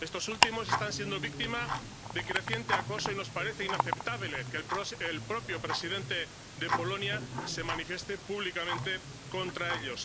Estas últimas están siendo víctimas de creciente acoso y nos parece inaceptable que el propio presidente de Polonia se manifieste públicamente contra ellas.